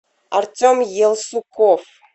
артем елсуков